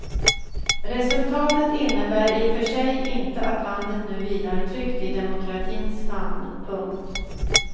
Resultatet innebär i för sig inte att landet nu vilar tryggt i demokratins famn. punkt